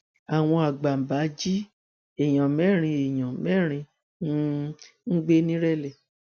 àwọn àgbàbàn jí èèyàn mẹrin èèyàn mẹrin um gbé ńirẹlẹ